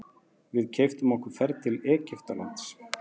Við keyptum okkur ferð til Egyptalands.